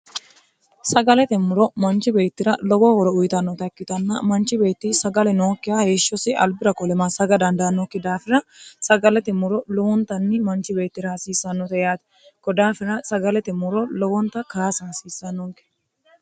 sagalete muro manchi beettira lowo horo uyitannota ikkitanna manchi beetti sagale nookkiha heeshshosi albira kolema saga dandayannokki daafina sagalete muro lowontanni manchi beettira haasiissannota yaati kodaafina sagalete muro lowonta kaas hansiissannogge